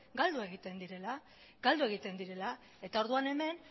galdu egiten direla eta orduan hemen